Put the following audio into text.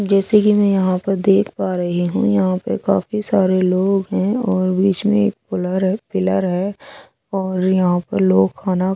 जैसे ही में यहाँ पार देख पा रही हूँ यहाँ पार काफी सारे लोग है और पिलार रहे पिला रहे है और यहाँ पर लोग खाना --